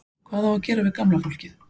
Hvað á að gera við gamla fólkið?